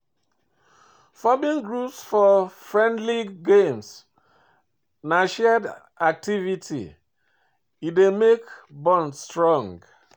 Forming groups for friendly games na shared activity, e dey make bond strong